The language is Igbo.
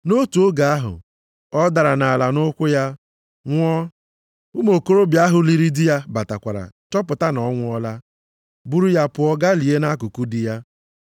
Nʼotu oge ahụ ọ dara nʼala nʼụkwụ ya, nwụọ, ụmụ okorobịa ahụ liri di ya batakwara chọpụta na ọ nwụọla, buru ya pụọ gaa lie ya nʼakụkụ di ya.